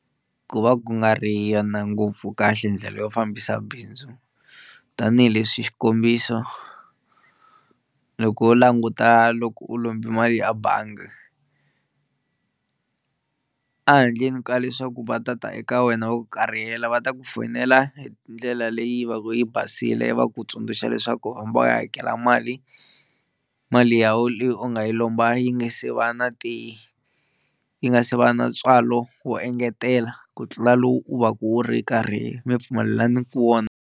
Ku va ku nga ri yona ngopfu kahle ndlela yo fambisa bindzu tanihileswi xikombiso loko wo languta loko u lombe mali a bangi a handleni ka leswaku va tata eka wena va ku karihela, va ta ku foyinela hi ndlela leyi va ku yi basile va ku tsundzuxa leswaku u hambi u ya hakela mali mali ya wena leyi u nga yi lomba yi nge se va na ti yi nga se va na ntswalo wo engetela ku tlula lowu u va ka u ri karhi mi pfumelelaniku wona.